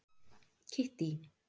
Kittý